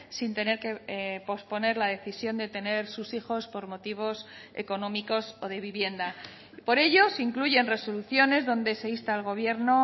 sin tener que posponer la decisión de tener sus hijos por motivos económicos o de vivienda por ello se incluyen resoluciones donde se insta al gobierno